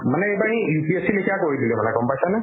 মানে এইবাৰ এই UPSC লেখিয়া কৰি দিলে মানে গম পাইছানে ?